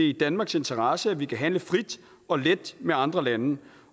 i danmarks interesse at vi kan handle frit og let med andre lande